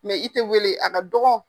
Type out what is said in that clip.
Mɛ i tɛ weele a ka dɔgɔ.